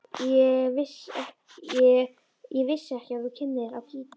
Ég vissi ekki að þú kynnir á gítar.